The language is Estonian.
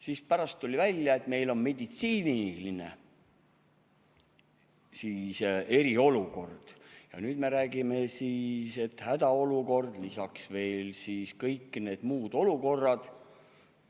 Siis pärast tuli välja, et meil on meditsiiniline eriolukord, ja nüüd me räägime, et hädaolukord, lisaks veel siis kõik need muud olukorrad.